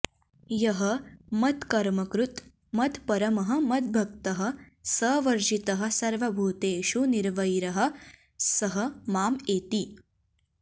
यः मत्कर्मकृत् मत्परमः मद्भक्तः सवर्जितः सर्वभूतेषु निर्वैरः सः माम् एति